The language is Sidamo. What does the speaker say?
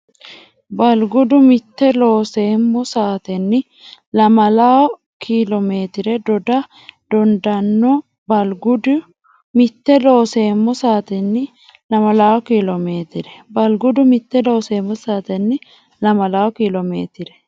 Balgudu mitte Looseemmo saatenni lamalawo kiilomeetire doda dandaanno Balgudu mitte Looseemmo saatenni lamalawo kiilomeetire Balgudu mitte Looseemmo saatenni lamalawo kiilomeetire.